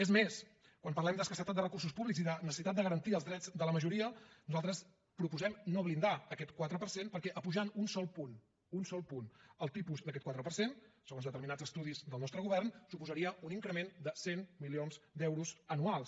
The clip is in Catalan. és més quan parlem d’escassetat de recursos públics i de necessitat de garantir els drets de la majoria nosaltres proposem no blindar aquest quatre per cent perquè apujant un sol punt un sol punt el tipus d’aquest quatre per cent segons determinats estudis del nostre govern suposaria un increment de cent milions d’euros anuals